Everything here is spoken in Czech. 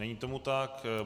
Není tomu tak.